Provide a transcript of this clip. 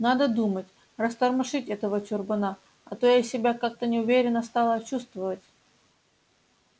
надо думаю растормошить этого чурбана а то я себя как-то неуверенно стала чувствовать